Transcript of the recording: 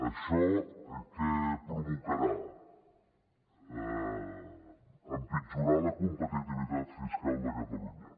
això què provocarà empitjorar la competitivitat fiscal de catalunya